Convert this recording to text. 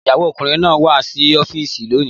Ìyàwó ọkùnrin náà wá sí ọ́fíìsì lónìí